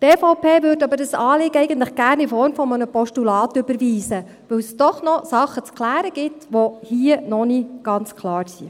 Die EVP würde dieses Anliegen aber eigentlich gerne in Form eines Postulats überweisen, weil es doch noch Dinge zu klären gibt, die hier noch nicht ganz klar sind.